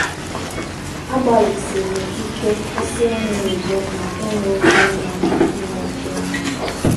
Agbalịsiri m ike kwụsị ịṅụ igbo na ịṅụ oké mmanya ịṅụ oké mmanya.